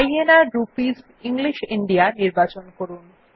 INR rupees English India নির্বাচন করুন